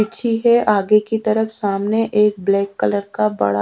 ठीक है आगे कि तरफ सामने एक ब्लैक कलर का बड़ा--